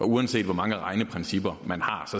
uanset hvor mange regneprincipper man har